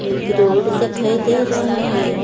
एक रोड दिखाई दे रहा है।